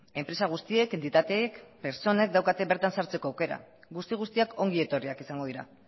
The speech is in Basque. enpresa guztiek entitateek pertsonek daukate bertan sartzeko aukera guzti guztiak ongi etorriak izango dira